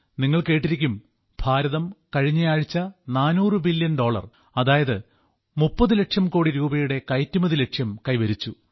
നിങ്ങൾ കേട്ടിരിക്കും ഭാരതം കഴിഞ്ഞയാഴ്ച 400 ബില്യൺ ഡോളർ അതായത് 30 ലക്ഷം കോടി രൂപയുടെ കയറ്റുമതി ലക്ഷ്യം കൈവരിച്ചു